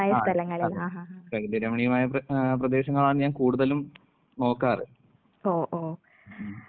ആഹ് അതെ. പ്രകൃതിരമണീയമായ പ്ര ഏഹ് പ്രദേശങ്ങളാണ് ഞാൻ കൂടുതലും നോക്കാറ്. ഉം ഉം.